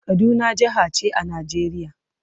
Kaduna jaha ce a Najeriya.